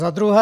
Za druhé.